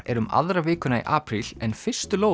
er um aðra vikuna í apríl en fyrstu